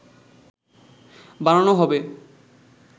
বানানো হবে